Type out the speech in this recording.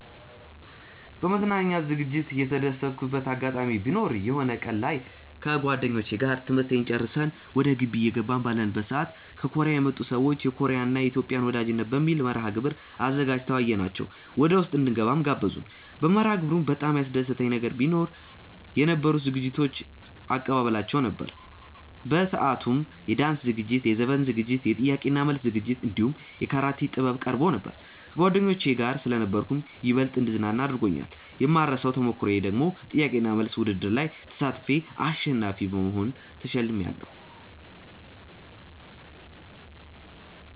በመዝናኛ ዝግጅት የተደሰትኩበት አጋጣሚ ቢኖር የሆነ ቀን ላይ ከጓደኞቼ ጋር ትምህርት ጨርሰን ወደ ግቢ እየገባን ባለንበት ሰዓት ከኮርያ የመጡ ሰዎች የኮርያን እና የኢትዮጵያን ወዳጅነት በሚል መርሐግብር አዘጋጅተው አየናቸው ወደውስጥ እንድንገባም ጋበዙን። በመርሐግብሩም በጣም ያስደሰተኝ ነገር ቢኖ የነበሩት ዝግጅቶች እባ አቀባበላቸው ነበር። በሰአቱም የዳንስ ዝግጅት፣ የዘፈን ዝግጅት፣ የጥያቄ እና መልስ ዝግጅት እንዲሁም የካራቴ ጥበብ ቀርቦ ነበር። ከጓደኞቼ ጋር ስለነበርኩም ይበልጥ እንድዝናና አድርጎኛል። የማይረሳው ተሞክሮዬ ደግሞ ጥያቄ እና መልስ ውድድሩ ላይ ተሳትፌ አሸናፊ በመሆን ተሸልሜያለው።